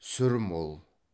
сүр мол